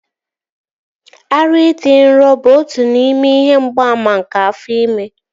Ara ịdị nro bụ otu n'ime ihe mgbaàmà nke afọ ime